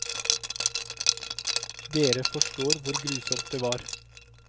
Dere forstår hvor grusomt det var.